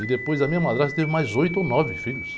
E depois a minha madrasta teve mais oito ou nove filhos.